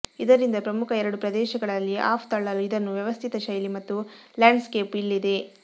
ಇದರಿಂದ ಪ್ರಮುಖ ಎರಡು ಪ್ರದೇಶಗಳಲ್ಲಿ ಆಫ್ ತಳ್ಳಲು ಇದನ್ನು ವ್ಯವಸ್ಥಿತ ಶೈಲಿ ಮತ್ತು ಲ್ಯಾಂಡ್ಸ್ಕೇಪ್ ಇಲ್ಲಿದೆ